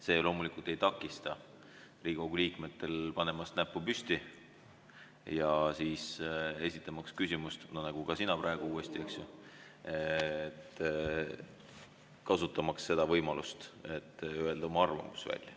See loomulikult ei takista Riigikogu liikmetel panemast näpu püsti ja esitamaks küsimust, nagu sina praegu uuesti teed, kasutamaks seda võimalust, et öelda oma arvamus välja.